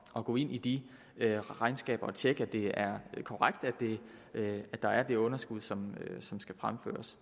at gå ind i de regnskaber og tjekke at det er korrekt at der er det underskud som som skal fremføres